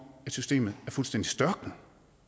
systemet er fuldstændig størknet